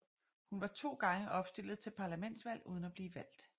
Hun var to gange opstillet til parlamentsvalg uden at blive valgt